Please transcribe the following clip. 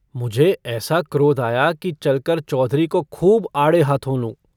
मुझे ऐसा क्रोध आया कि चलकर चौधरी को खूब आड़े हाथों लूँ।